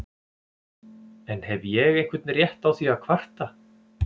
En hef ég einhvern rétt á því að kvarta?